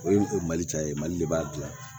O ye o mali ca ye mali de b'a dilan